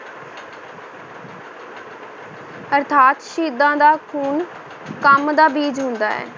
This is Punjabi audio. ਅਰਥਾਤ ਸ਼ਹੀਦਾਂ ਦਾ ਖੂਨ ਕੰਮ ਦਾ ਬੀਜ ਹੁੰਦਾ ਹੈ।